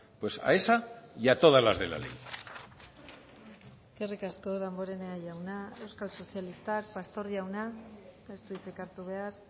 pues a esa y a todas las de la ley eskerrik asko damborenea jauna euskal sozialistak pastor jauna ez du hitzik hartu behar